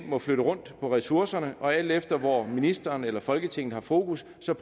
må flytte rundt på ressourcerne og alt efter hvor ministeren eller folketinget har fokus så